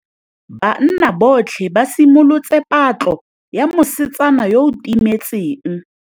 Banna botlhê ba simolotse patlô ya mosetsana yo o timetseng.